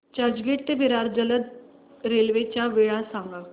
चर्चगेट ते विरार जलद रेल्वे च्या वेळा सांगा